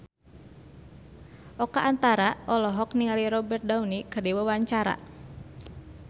Oka Antara olohok ningali Robert Downey keur diwawancara